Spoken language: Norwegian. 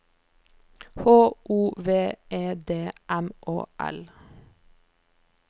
H O V E D M Å L